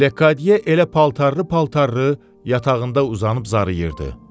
Lekodye elə paltarlı-paltarlı yatağında uzanıb zarıyırdı.